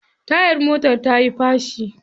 Tayar motar tayi fashi.